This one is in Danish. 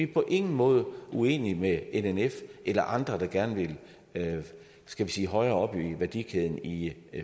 på ingen måde uenige med nnf eller andre der gerne vil skal vi sige højere op i værdikæden i